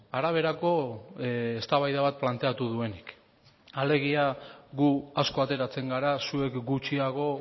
araberako eztabaida bat planteatu duenik alegia gu asko ateratzen gara zuek gutxiago